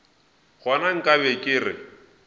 gona nka be ke re